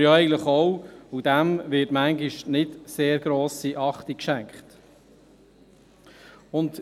Diesem wird manchmal keine sehr grosse Beachtung geschenkt.